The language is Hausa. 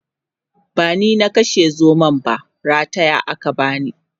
bani na kashe zomon ba rataya aka bani